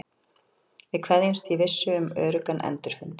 Við kveðjumst í vissu um öruggan endurfund.